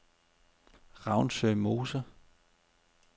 Ravnsø Mose